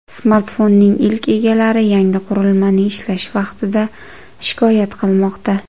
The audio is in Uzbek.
Smartfonning ilk egalari yangi qurilmaning ishlash vaqtidan shikoyat qilmoqda.